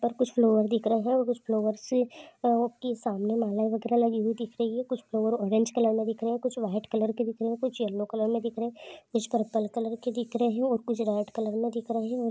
और कुछ फ्लावर दिख रहे है और कुछ फ्लावरस से आ कि सामने माला वगैरा लगी हुई दिख रही है कुछ फ्लावर ऑरेंज कलर मे दिख रहे है कुछ व्हाइट कलर के दिख रहे है कुछ येलो कलर मे दिख रहे हे कुछ पर्पल कलर के दिख रहे हैं और कुछ रेड कलर में दिख रहे है और--